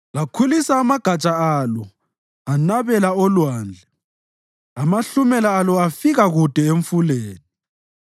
Lakhulisa amagatsha alo anabela oLwandle, amahlumela alo afika kude eMfuleni.